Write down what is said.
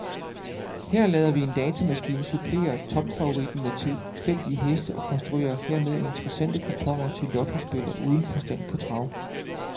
Her lader vi en datamaskine supplere topfavoritten med tilfældige heste og konstruerer dermed interessante kuponer til lottospillere uden forstand på trav.